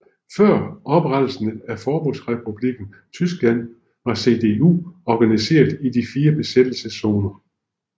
Før oprettelsen af Forbundsrepublikken Tyskland var CDU organiseret i de fire besættelseszoner